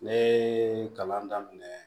Ne ye kalan daminɛ